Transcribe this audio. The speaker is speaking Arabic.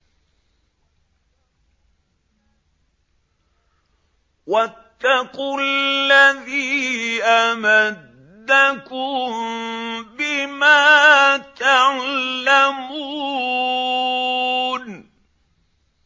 وَاتَّقُوا الَّذِي أَمَدَّكُم بِمَا تَعْلَمُونَ